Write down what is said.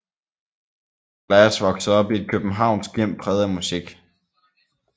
Glass voksede op i et københavnsk hjem præget af musik